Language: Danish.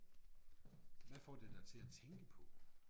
Hvad får det dig til at tænke på?